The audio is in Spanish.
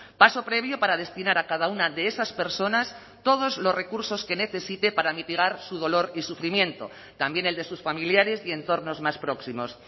paso previo para destinar a cada una de esas personas todos los recursos que necesite para mitigar su dolor y sufrimiento también el de sus familiares y entornos más próximos